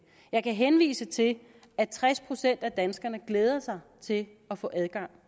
jeg kan henvise til at tres procent af danskerne glæder sig til at få adgang